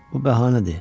Bu bəhanədir.